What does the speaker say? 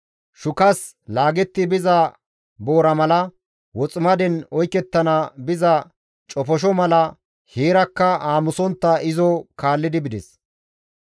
Shukas laagetti biza boora mala, woximaden oykettana biza cofosho mala heerakka aamusontta izo kaallidi bides.